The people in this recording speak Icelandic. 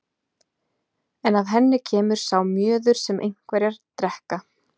En af henni kemur sá mjöður sem einherjar drekka.